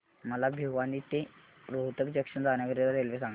मला भिवानी ते रोहतक जंक्शन जाण्या करीता रेल्वे सांगा